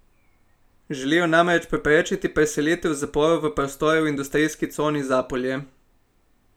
Želijo namreč preprečiti preselitev zaporov v prostore v industrijski coni Zapolje.